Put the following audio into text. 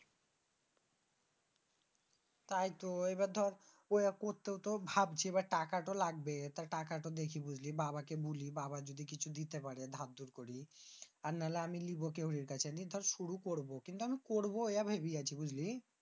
তাই তো এবার দর ঐ অ্যা করতে ও ভাবছি টাকা তো লাগবে। তা টাকা তো দেখি বুঝলি বাবাকে বুলি। বাবা যদি কিছু দিতে পাড়ে দার দূর করে আর নাহয় আমি লিব শুরু করব। কিন্তু আমি করব এটা ভেবেছি।